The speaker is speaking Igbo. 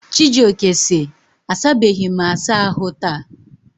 Chijioke si, asabeghị m asa ahụ taa.